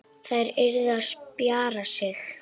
Þær yrðu að spjara sig.